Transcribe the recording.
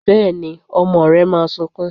Bẹ́ẹ̀ni, ọmọ rẹ máa sunkún.